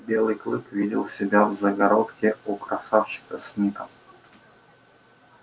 белый клык видел себя в загородке у красавчика смита